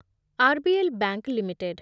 RBL Bank limited